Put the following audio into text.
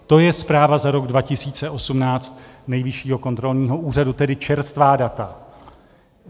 To je zpráva za rok 2018 Nejvyššího kontrolního úřadu, tedy čerstvá data.